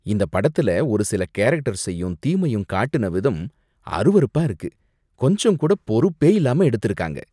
இந்த படத்துல ஒரு சில கேரக்டர்ஸையும் தீமையும் காட்டுன விதம் அருவருப்பா இருக்கு. கொஞ்சம் கூட பொறுப்பே இல்லாம எடுத்திருக்காங்க.